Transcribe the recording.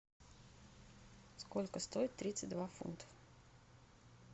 сколько стоит тридцать два фунта